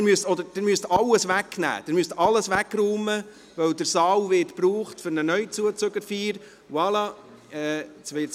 Sie müssen alles wegräumen, weil der Saal für eine Jungbürgerfeier gebraucht wird.